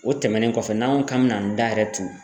O tɛmɛnen kɔfɛ n'an ko k'an mɛna an da yɛrɛ tu